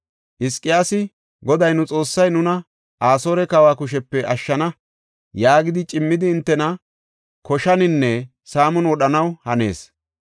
Hizqiyaasi, ‘Goday, nu Xoossay nuna, Asoore kawa kushepe ashshana’ yaagidi cimmidi hintena koshaninne saamon wodhanaw hanees.